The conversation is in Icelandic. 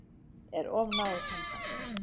Er of náið samband?